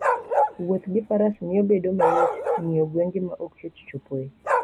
Wuoth gi faras miyo bedo mayot ng'iyo gwenge ma ok yot chopoe.